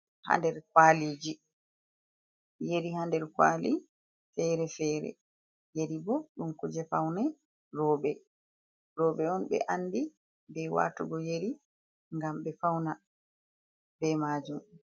Ha nder kwaliji. Yeri ha nder kwali fere fere yeri bo dum kuje faune robe. Roɓe on be andi be watugo yeri gam be fauna be majum.